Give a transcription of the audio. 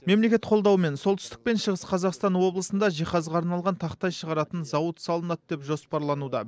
мемлекет қолдауымен солтүстік пен шығыс қазақстан облысында жиһазға арналған тақтай шығаратын зауыт салынады деп жоспарлануда